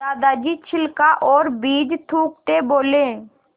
दादाजी छिलका और बीज थूकते बोले